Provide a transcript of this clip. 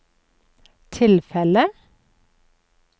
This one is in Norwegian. tilfellet